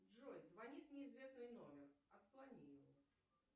джой звонит неизвестный номер отклони его